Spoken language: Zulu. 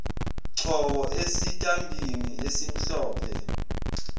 choko esitambini esimhlophe